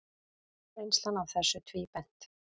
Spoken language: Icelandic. Reynslan af þessu tvíbent.